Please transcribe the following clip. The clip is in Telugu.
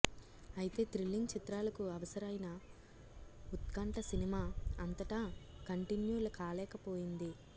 అయితే థ్రిల్లింగ్ చిత్రాలకు అవసరైన ఉత్కంఠ సినిమా అంతటా కంటిన్యూ కాలేకపోయింది